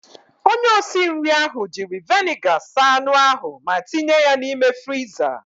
Onye osinri ahụ jiri veniga saa anụ ahụ ma tinye ya n'ime friza.